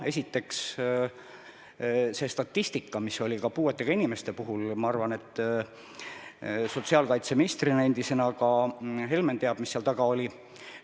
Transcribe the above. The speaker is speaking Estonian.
Esiteks, see statistika, mis hõlmab puuetega inimesi – ma arvan, et endise sotsiaalkaitseministrina Helmen teab, mis seal taga oli.